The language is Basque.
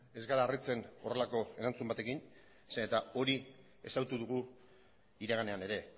ez gara harritzen horrelako erantzun batekin zeren hori ezagutu dugu iraganean ere